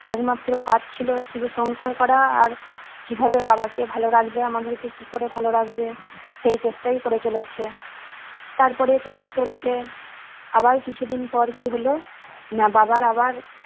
একমাত্র কাজ ছিল শুধু সংসার করা আর কি ভাবে বাবাকে ভালো রাখবে আমাদেরকে কি করে ভালো রাখবে সেই চেষ্টাই করে চলেছে তারপরে চলতে চলতে আবার কিছুদিন পর কি হলো না বাবার আবার